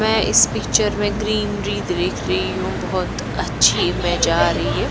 मैं इस पिक्चर में ग्रीनरी देख रही हूं बहुत अच्छी में रही है।